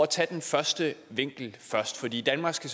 tage den første vinkel først i danmark skal